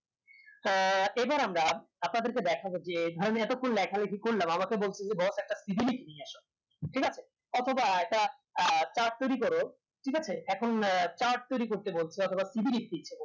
হ্যাঁ এবার আমরা আপনাদেরকে দেখাব যে আমি এতক্ষন লেখা লেখি করলাম আমাকে বলছে যে boss একটা পৃথিবী নিয়ে এসো ঠিক আছে অথবা একটা chart তৈরী করো ঠিক আছে এখন chart তৈরী করতে বলছে অথবা